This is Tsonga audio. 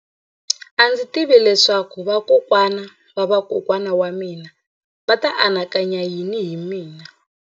A ndzi tivi leswaku vakokwana-va-vakokwana va mina a va ta anakanya yini hi mina.